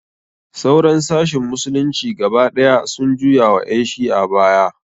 Sauran sashin musulunci gaba ɗaya sun juya wa ƴan shi'a baya.